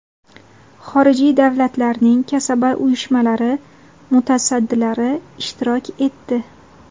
xorijiy davlatlarning kasaba uyushmalari mutasaddilari ishtirok etdi.